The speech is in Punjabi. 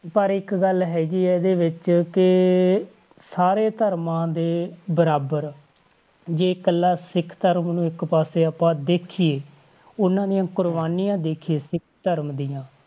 ਪਰ ਇੱਕ ਗੱਲ ਹੈਗੀ ਹੈ ਇਹਦੇ ਵਿੱਚ ਕਿ ਸਾਰੇ ਧਰਮਾਂ ਦੇ ਬਰਾਬਰ, ਜੇ ਇਕੱਲਾ ਸਿੱਖ ਧਰਮ ਨੂੰ ਇੱਕ ਪਾਸੇ ਆਪਾਂ ਦੇਖੀਏ ਉਹਨਾਂ ਦੀਆਂ ਕੁਰਬਾਨੀਆਂ ਦੇਖੀਏ ਸਿੱਖ ਧਰਮ ਦੀਆਂ,